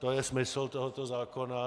To je smysl tohoto zákona.